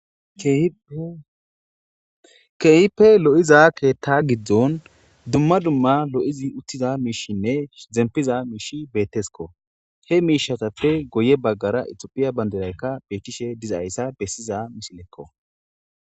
ke'hippe lo'iza keetta giddon dumma dumma lo'idii uttida miishinne zempiza miishi betteskko he miishshatappe guye baggara itophphiya bandiraykka betishshe dizayssa bessiza misilekko